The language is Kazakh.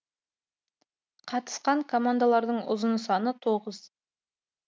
қатысқан командалардың ұзын саны тоғыз